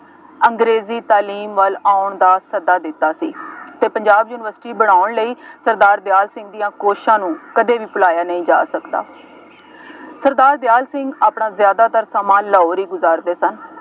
ਅੰਗਰੇਜ਼ੀ ਤਾਲੀਮ ਵੱਲ ਆਉਣ ਦਾ ਸੱਦਾ ਦਿੱਤਾ ਸੀ ਅਤੇ ਪੰਜਾਬ ਯੂਨੀਵਰਸਿਟੀ ਬਣਾਉਣ ਲਈ ਸਰਦਾਰ ਦਿਆਲ ਸਿੰਘ ਦੀਆਂ ਕੋਸ਼ਿਸ਼ਾਂ ਨੂੰ ਕਦੇ ਵੀ ਭੁਲਾਇਆ ਨਹੀਂ ਜਾ ਸਕਦਾ, ਸਰਦਾਰ ਦਿਆਲ ਸਿੰਘ ਆਪਣਾ ਜ਼ਿਆਦਾਤਰ ਸਮਾਂ ਲਾਹੌਰ ਹੀ ਗੁਜ਼ਾਰਦੇ ਸਨ।